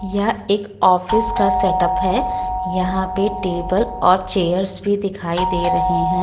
यह एक ऑफिस का सेट अप है यहां पे टेबल् और चेयर्स भी दिखाई दे रहे है।